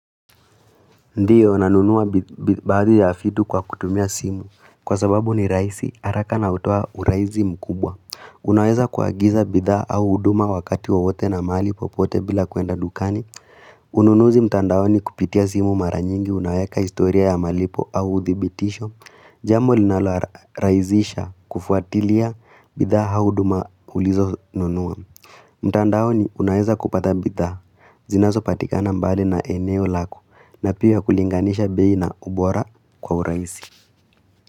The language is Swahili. Ndiyo, nanunuwa baadhi ya fitu kwa kutumia simu. Kwa sababu ni raisi, haraka na utowa uraizi mkubwa. Unaweza kuagiza bidha au uduma wakati wowote na mali po pote bila kuenda dukani. Ununuzi mtandaoni kupitia simu maranyingi, unaweka istoria ya malipo au udhibitisho. Jambo linaloa raizisha kufuatilia bidha au uduma ulizo nunua. Mtandao ni unaeza kupata bitha zinaso patikana mbale na eneo lako na piwa kulinganisha beina ubora kwa uraisi.